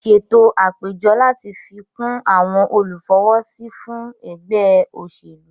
Ṣètò àpéjọ láti fi kún àwon olùfọwọ́sí fún ẹgbẹ́ òṣèlú